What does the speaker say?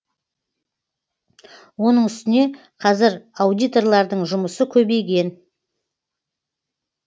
оның үстіне қазір аудиторлардың жұмысы көбейген